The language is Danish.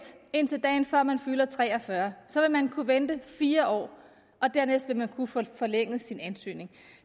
indtil dagen før man fylder tre og fyrre så vil man kunne vente fire år og dernæst vil man kunne få forlænget sin ansøgning